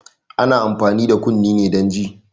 Ana amfani da kunne ne don ji